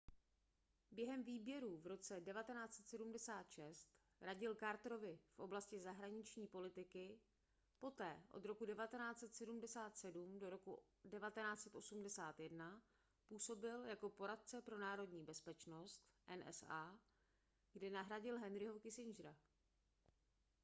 během výběrů v roce 1976 radil carterovi v oblasti zahraniční politiky poté od roku 1977 do roku 1981 působil jako poradce pro národní bezpečnost nsa kde nahradil henryho kissingera